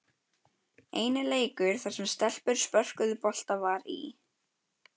Eini leikur þar sem stelpur spörkuðu bolta var í